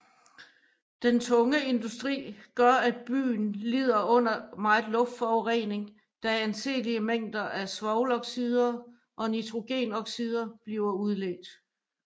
Den tunge industri gør at byen lider under meget luftforurening da anseelige mængder svovloxider og nitrogenoxider bliver udledt